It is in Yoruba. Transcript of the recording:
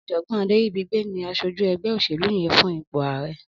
Ọjọgbọn Aderibigbe ni àṣójú ẹgbẹ óṣélú yèn fún ipó àárẹ̀